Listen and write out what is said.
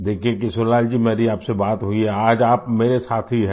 देखिये किशोरीलाल जी मेरी आपसे बात हुई है आज आप मेरे साथी हैं